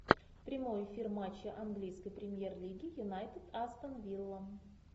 прямой эфир матча английской премьер лиги юнайтед астон вилла